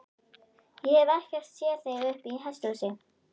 Ég hef ekkert séð þig uppi í hesthúsi, sagði hann.